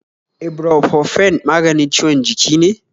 Ibropofen maganin ciwon jiki ne?